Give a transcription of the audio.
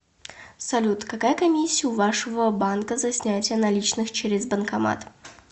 салют какая комиссия у вашего банка за снятие наличных через банкомат